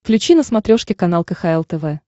включи на смотрешке канал кхл тв